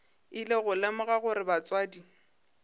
ile go lemoga gore batswadi